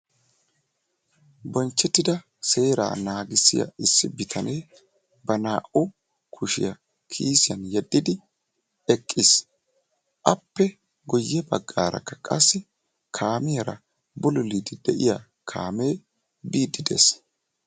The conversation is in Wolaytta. Bonchchettida seeraa naagissiya issi bitanee ba naa'u kushiya kiisiyan yeddidi eqqis appe guyye baggaarakka qassi kaamiyara bululuuddi de"iya kaamee biiddi de'es